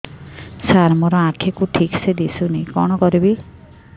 ସାର ମୋର ଆଖି କୁ ଠିକସେ ଦିଶୁନି କଣ କରିବି